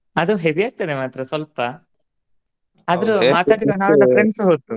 ಅದು heavy ಆಗ್ತದ ಮಾತ್ರ ಸ್ವಲ್ಪ ನಾವೆಲ್ಲಾ friends ಹೋದ್ದು.